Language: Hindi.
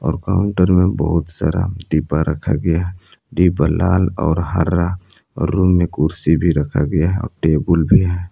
और काउंटर में बहुत सारा डिब्बा रखा गया है डिब्बा लाल और हरा और रूम में कुर्सी भी रखा गया है टेबुल भी है।